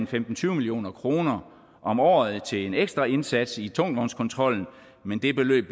til tyve million kroner om året til en ekstra indsats i tungvognskontrollen men det beløb